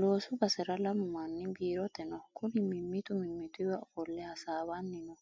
Loosu basera lamu manni biirote no kuri mimmitu mimmituwa ofolle hasaawanni no